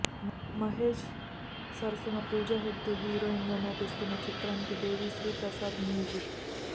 మహేష్ సరసన పూజా హెగ్డే హీరోయిన్గా నటిస్తున్న చిత్రానికి దేవిశ్రీ ప్రసాద్ మ్యూజిక్